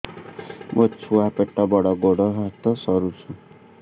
ମୋ ଛୁଆ ପେଟ ବଡ଼ ଗୋଡ଼ ହାତ ସରୁ